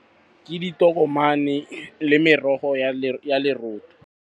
Ke ditokomane le merogo ya .